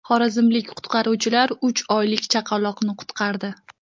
Xorazmlik qutqaruvchilar uch oylik chaqaloqni qutqardi.